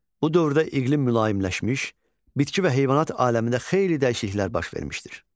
Bu dövrdə iqlim mülayimləşmiş, bitki və heyvanat aləmində xeyli dəyişikliklər baş vermişdir.